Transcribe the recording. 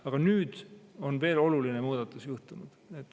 Aga nüüd on veel üks oluline muudatus juhtunud.